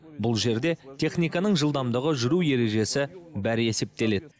бұл жерде техниканың жылдамдығы жүру ережесі бәрі есептеледі